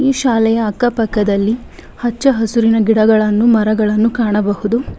ಈ ಶಾಲೆಯ ಅಕ್ಕ ಪಕ್ಕದಲ್ಲಿ ಹಚ್ಚ ಹಸಿರಿನ ಗಿಡಗಳನ್ನು ಮರಗಳನ್ನು ಕಾಣಬಹುದು.